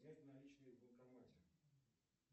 снять наличные в банкомате